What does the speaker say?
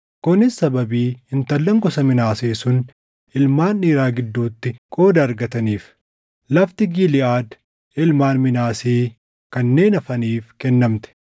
Kunis sababii intallan gosa Minaasee sun ilmaan dhiiraa gidduutti qooda argataniif. Lafti Giliʼaad ilmaan Minaasee kanneen hafaniif kennamte.